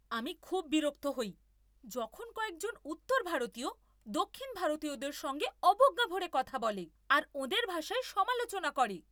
আমি খুব বিরক্ত হই যখন কয়েকজন উত্তর ভারতীয় দক্ষিণ ভারতীয়দের সঙ্গে অবজ্ঞা ভরে কথা বলে আর ওঁদের ভাষার সমালোচনা করে।